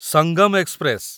Sangam express